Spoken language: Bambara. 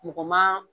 Mɔgɔ ma